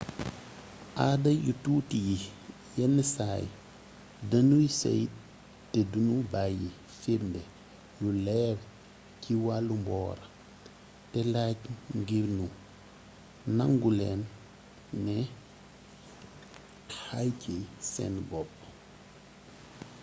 aada yu tuuti yi yenn saay denuy seey te du nu bàyyi firndee yu leer ci wàllu mboor te làjj ngir nu nangu leen ne xay ci seen bopp